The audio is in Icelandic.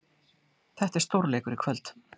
Þetta er stórleikur í kvöld.